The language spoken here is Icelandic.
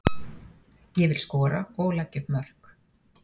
Ég vil skora og leggja upp mörk.